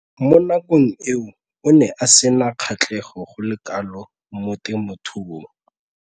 Mo nakong eo o ne a sena kgatlhego go le kalo mo temothuong.